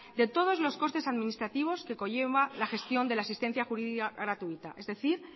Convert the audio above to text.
de todos los costes administrativos que conlleva la gestión de la asistencia jurídica gratuita es decir